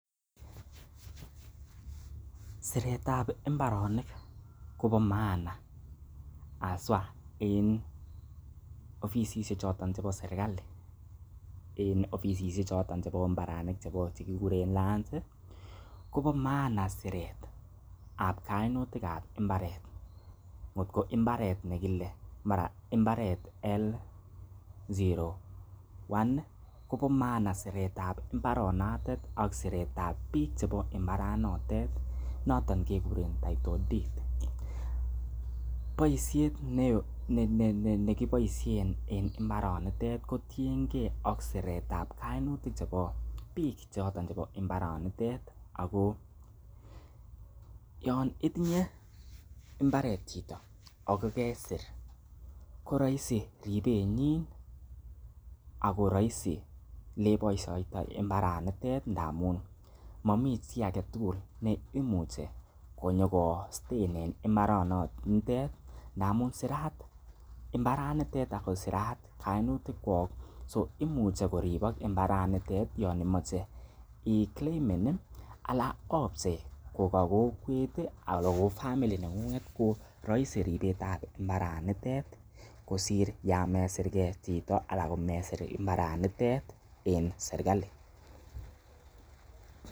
Siret ab mbaronik kobo maana haswa en ofisishek choton chebo serkalit chebo mbarenik che kiguren Lands kobo maana siret ab kainutik ab mbaret. Kot kombaret nekile mara mbaret L01 kobo maana siretab mbaranotet ak siret ab biik chebo mbaranotet, noton keguren title deed boisiet nekiboisien en mbaranitet kotienge ak siret ab kainutik chebo biik choto chebo mbaranitet ago yon itinye mbaret chito ago kesir koroisi ribenyin ago roisioleiboishoitoi mbaranitet amun momi chi age tugul neimuchi konyokostein en mbaranitet ngamun sirat mbaranitet ago sirat kainutikwok so imuche koribok mbaranitet yon imoche iclaimen anan opchei ko ka kokwet al ko family neng'ung'et ko roisi ripetab mbaranitet kosir yan mseirge chito anan komesir mbarenitet en serkalit.